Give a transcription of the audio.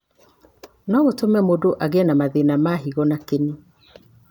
no gũtũme mũndũ agĩe na mathĩna ma higo na kĩni.